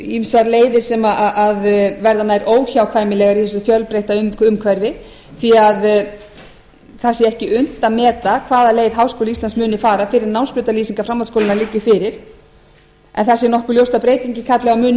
ýmsar leiðir sem verða nær óhjákvæmilegar í þessu fjölbreytta umhverfi því það sé ekki unnt að meta hvaða leið háskóli íslands muni fara fyrr en námsbrautarlýsingar framhaldsskólanna liggi fyrir en það sé nokkuð ljóst að breytingin kalli á mun meiri